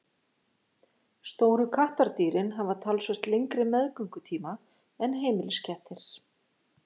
Stóru kattardýrin hafa talsvert lengri meðgöngutíma en heimiliskettir.